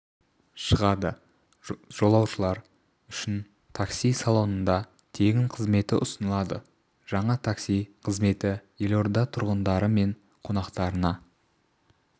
шығады жолаушылар үшін такси салонында тегін қызметі ұсынылады жаңа такси қызметі елорда тұрғындары мен қонақтарына